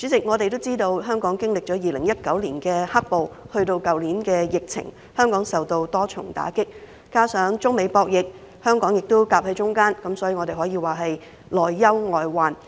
我們都知道，香港經歷了2019年的"黑暴"，去年又有疫情，飽受多重打擊；再加上中美博弈，香港夾在中間，可說是內憂外患。